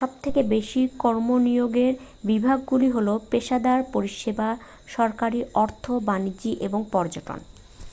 সবথেকে বেশি কর্মনিয়োগের বিভাগগুলি হল পেশাদার পরিষেবা সরকারি অর্থ বাণিজ্য এবং পর্যটন